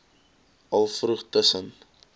al vroeg tussen